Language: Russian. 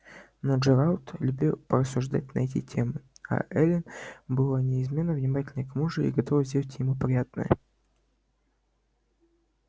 но джералд любил порассуждать на эти темы а эллин была неизменно внимательна к мужу и готова сделать ему приятное